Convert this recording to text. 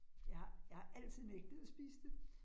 Jeg har jeg har altid nægtet at spise det